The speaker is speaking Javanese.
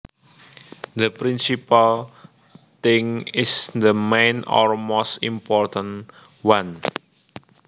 The principal thing is the main or most important one